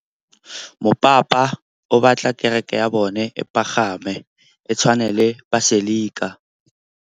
Mopapa o batla kereke ya bone e pagame, e tshwane le paselika.